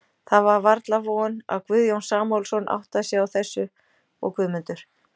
Það var varla von, að Guðjón Samúelsson áttaði sig á þessu, og Guðmundur